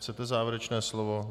Chcete závěrečné slovo?